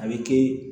A bɛ kɛ